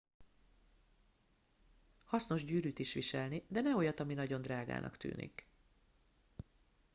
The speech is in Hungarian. hasznos gyűrűt is viselni de ne olyat ami nagyon drágának tűnik